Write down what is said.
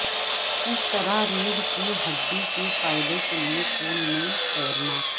کس طرح ریڑھ کی ہڈی کے فائدہ کے لئے پول میں تیرنا